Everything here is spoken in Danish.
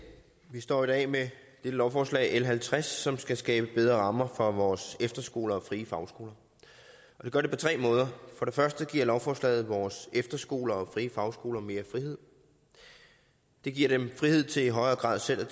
vi står i dag med dette lovforslag l halvtreds som skal skabe bedre rammer for vores efterskoler og frie fagskoler det gør det på tre måder for det første giver lovforslaget vores efterskoler og frie fagskoler mere frihed det giver dem frihed til i højere grad selv